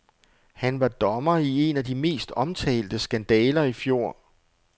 Han var dommer i en af de mest omtalte skandaler i fjor.